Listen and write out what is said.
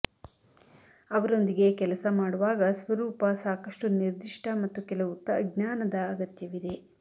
ಅವರೊಂದಿಗೆ ಕೆಲಸ ಮಾಡುವಾಗ ಸ್ವರೂಪ ಸಾಕಷ್ಟು ನಿರ್ದಿಷ್ಟ ಮತ್ತು ಕೆಲವು ಜ್ಞಾನದ ಅಗತ್ಯವಿದೆ